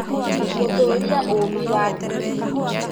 Gũtũria ũũmbi wa tĩri